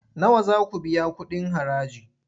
Nawa za ku biya kuɗin haraji?